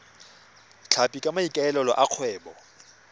tlhapi ka maikaelelo a kgwebo